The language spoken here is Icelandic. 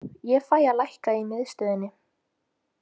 Ég fæ að lækka í miðstöðinni.